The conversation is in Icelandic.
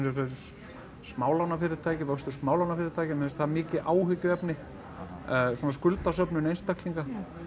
smálánafyrirtæki vöxtur smálánafyrirtækja mér finnst það mikið áhyggjuefni svona skuldasöfnun einstaklinga